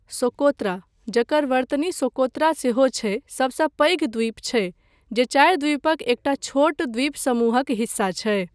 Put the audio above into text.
Socotra, जकर वर्तनी Socotra सेहो छै, सभसँ पैघ द्वीप छै, जे चारि द्वीपक एकटा छोट द्वीपसमूहक हिस्सा छै।